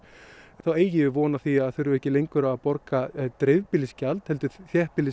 þá eigum við von á því að þurfa ekki lengur að borga heldur